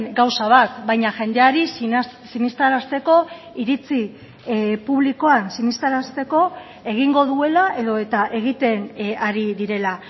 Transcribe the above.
gauza bat baina jendeari sinestarazteko iritzi publikoan sinestarazteko egingo duela edota egiten ari direla